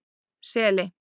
Seli